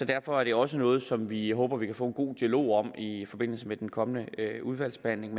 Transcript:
derfor er det også noget som vi håber vi kan få en god dialog om i forbindelse med den kommende udvalgsbehandling